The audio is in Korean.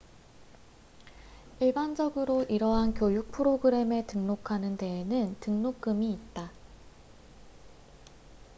일반적으로 이러한 교육 프로그램에 등록하는 데에는 등록금이 있다